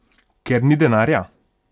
Ker ni denarja?